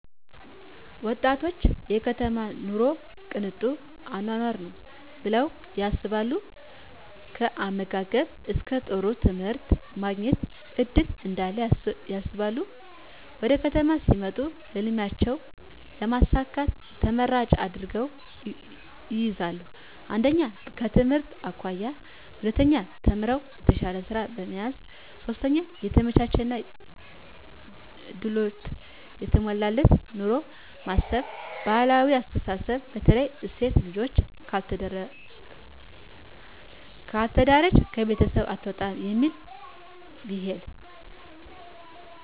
ወጣቶች የከተማ ኑሮ ቅንጡ አኖኖር ነው ብለው ያስባሉ ከአመጋገብ እስከ ጥሩ ትምህርት የማግኘት እድል እዳለ ያስባሉ ወደከተማ ሲመጡ ህልሜቸውን ለማሳካት ተመራጭ አድርገው ይይዛሉ 1/ከትምህርት አኮያ 2/ተምረው የተሻለ ስራ ለመያዝ 3/የተመቻቸና ድሎት የተሞላበት ኑሮን በማሰብ ባህላዊ አስተሳስብ በተለይ ሴት ልጅ ካልተዳረች ከቤት አትውጣም እሚል ቢሂል